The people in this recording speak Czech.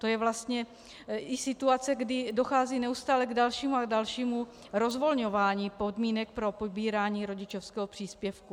To je vlastně i situace, kdy dochází neustále k dalšímu a dalšímu rozvolňování podmínek pro pobírání rodičovského příspěvku.